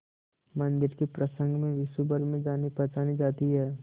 मंदिर के प्रसंग में विश्वभर में जानीपहचानी जाती है